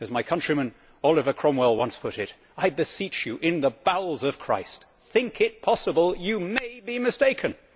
As my countryman Oliver Cromwell once put it I beseech you in the bowels of Christ, think it possible you may be mistaken.'